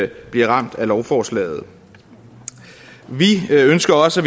bliver ramt af lovforslaget vi ønsker også